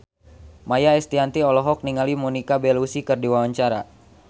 Maia Estianty olohok ningali Monica Belluci keur diwawancara